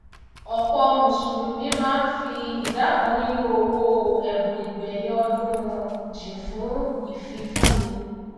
òpò mùsùlùmí máá n fi ìdá kan nínu owò èbùn ìgbèyìn ọdún wọn jìn fùn ìfifúni